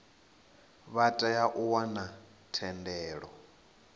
vha tea u wana thendelo